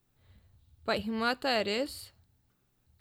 Pa jih imata res?